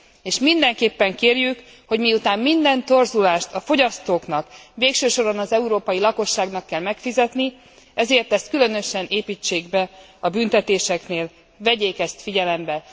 És mindenképpen kérjük, hogy miután minden torzulást a fogyasztóknak, végső soron az európai lakosságnak kell megfizetni, ezért ezt különösen építsék be a büntetéseknél, vegyék ezt figyelembe.